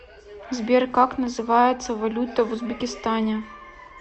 сбер как называется валюта в узбекистане